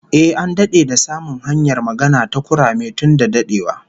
Ehh, an dade da samun hanyar magana da kurame tun da dadewa